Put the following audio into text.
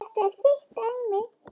Þetta er þitt dæmi.